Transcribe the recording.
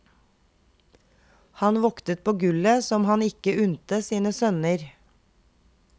Han voktet på gullet som han ikke unte sine sønner.